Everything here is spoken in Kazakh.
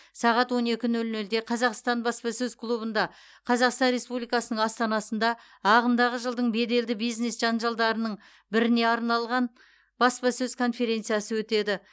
сағат он екі нөл нөлде қазақстан баспасөз клубында қазақстан республикасының астанасында ағымдағы жылдың беделді бизнес жанжалдарының біріне арналған баспасөз конференциясы өтеді